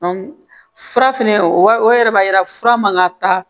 fura fɛnɛ o yɛrɛ b'a yira fura man ka taa